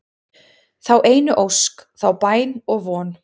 þá einu ósk, þá bæn og von